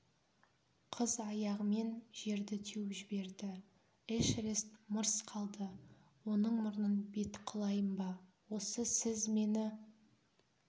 қыз аяғымен жерді теуіп жіберді эшерест мырс қалды оның мұрнын бет қылайын ба осы сіз мені